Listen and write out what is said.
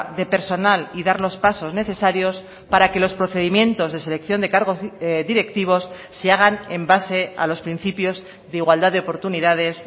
de personal y dar los pasos necesarios para que los procedimientos de selección de cargos directivos se hagan en base a los principios de igualdad de oportunidades